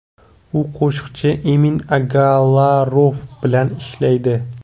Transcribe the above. U qo‘shiqchi Emin Agalarov bilan ishlaydi.